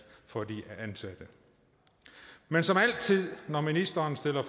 for de ansatte men som altid når ministeren stiller